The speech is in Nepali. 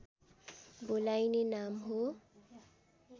बोलाइने नाम हो